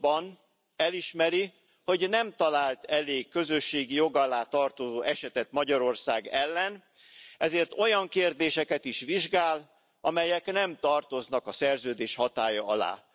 pontban elismeri, hogy nem talált elég közösségi jog alá tartozó esetet Magyarország ellen, ezért olyan kérdéseket is vizsgál, amelyek nem tartoznak a Szerződés hatálya alá.